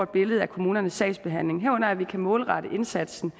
billede af kommunernes sagsbehandling herunder at vi kan målrette indsatsen